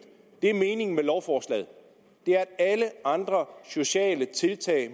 meningen med lovforslaget er at alle andre muligheder sociale tiltag